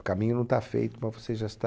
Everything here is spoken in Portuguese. O caminho não está feito, mas você já está